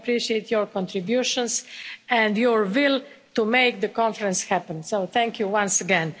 I appreciate your contributions and your will to make the Conference happen, so thank you once again.